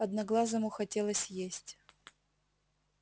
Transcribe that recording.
одноглазому хотелось есть